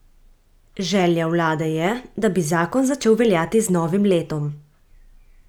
Želja vlade je, da bi zakon začel veljati z novim letom.